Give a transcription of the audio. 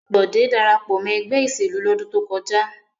Bọ̀dé dára pọ̀ mọ́ ẹgbẹ́ ìṣèlú lọ́dún tó kọjá.